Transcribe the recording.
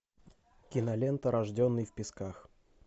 кинолента рожденный в песках